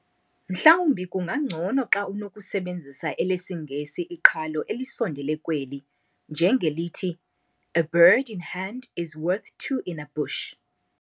Mhlawumbi kungangcono xa unokusebenzisa elesiNgesi iqhalo elisondele kweli, njengelithi, "A bird in hand is worth two in a bush."